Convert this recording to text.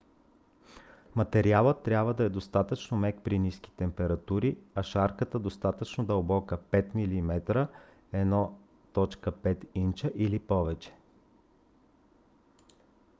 материалът трябва да е достатъчно мек при ниски температури а шарката достатъчно дълбока 5 mm 1/5 инча или повече